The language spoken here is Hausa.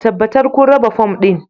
Tabbatar kun raba fom ɗin